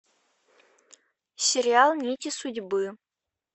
сериал нити судьбы